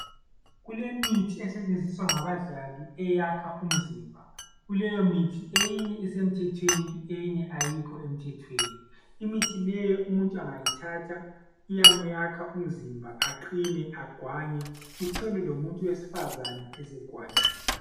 Kulemithi esetshenziswa ngabadlali eyakha umzimba kuleyo mithi eyinye isemthethweni eyinye ayikho emthethweni imithi leyo umuntu engayithatha iyamakha umzimba eqine egwanye uthole lomuntu wesifazana esegwanyile.